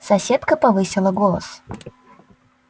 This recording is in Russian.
соседка повысила голос